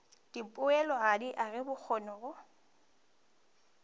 dipoelo go aga bokgoni go